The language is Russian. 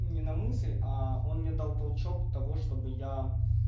не на мысль а он мне дал толчок того чтобы я